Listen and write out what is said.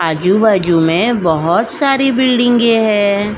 आजू-बाजू में बहुत सारे बिल्डिंगे हैं।